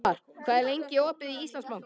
Hervar, hvað er lengi opið í Íslandsbanka?